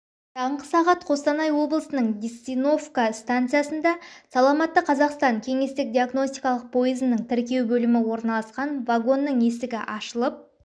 таңғы сағат костанай облысының денисовка станциясында саламатты қазақстан кеңестік-диагностикалық пойызының тіркеу бөлімі орналасқан вагонның есігі ашылып